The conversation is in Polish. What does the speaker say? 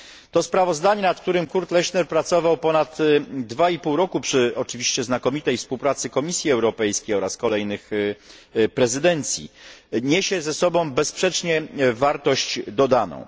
To sprawozdanie, nad którym Kurt Lechner pracował ponad dwa i pół roku przy oczywiście znakomitej współpracy Komisji Europejskiej oraz kolejnych prezydencji, niesie ze sobą bezsprzecznie wartość dodaną.